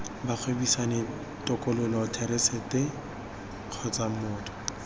bagwebisani tokololo therasete kgotsa motho